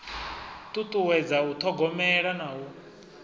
ṱuṱuwedza u ṱhogomela na u